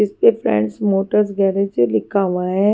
इस पे friends motors garage लिखा हुआ है।